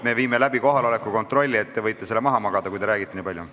Me viime nüüd läbi kohaloleku kontrolli, te võite selle maha magada, kui nii palju räägite.